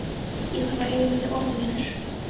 Ég þarf að eiga við þig orð, vinur.